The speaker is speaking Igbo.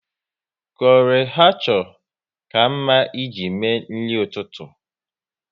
Chole bhature ka mma ị ji mee nri ụtụtụ